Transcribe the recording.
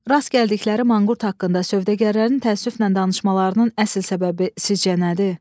Rast gəldikləri manqurt haqqında sövdəgərlərin təəssüflə danışmalarının əsas səbəbi sizcə nədir?